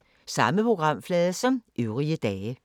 Samme programflade som øvrige dage